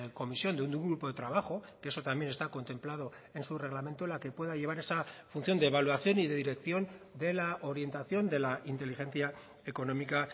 comisión de un grupo de trabajo que eso también está contemplado en su reglamento la que pueda llevar esa función de evaluación y de dirección de la orientación de la inteligencia económica